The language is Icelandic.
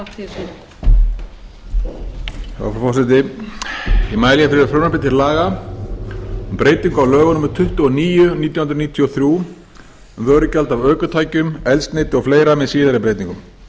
frú forseti ég mæli hér fyrir frumvarpi til laga um breytingu á lögum númer tuttugu og níu nítján hundruð níutíu og þrjú um vörugjald af ökutækjum eldsneyti og fleiri með síðari breytingum með